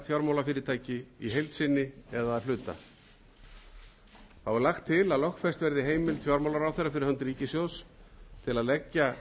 fjármálafyrirtæki í heild sinni eða að hluta þá er lagt til að lögfest verði heimild fjármálaráðherra fyrir hönd ríkissjóðs til að leggja